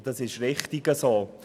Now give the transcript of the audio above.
das ist richtig so.